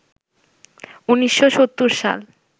১৯৭০ সাল